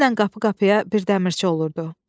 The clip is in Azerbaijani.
Bizimlə qapı-qapıya bir dəmirçi olurdu.